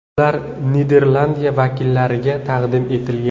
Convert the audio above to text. Ular Niderlandiya vakillariga taqdim etilgan.